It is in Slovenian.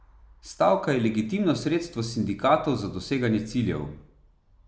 Stavka je legitimno sredstvo sindikatov za doseganje ciljev.